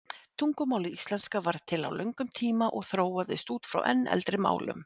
Tungumálið íslenska varð til á löngum tíma og þróaðist út frá enn eldri málum.